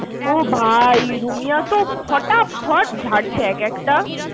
ও ভাই রুমিয়া তো ফটাফট ঝাড়ছে একেকটা